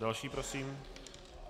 Další prosím.